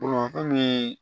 fɛn min ye